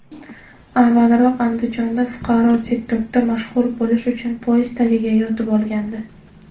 avvalroq Andijonda fuqaro TikTok’da mashhur bo‘lish uchun poyezd tagiga yotib olgandi.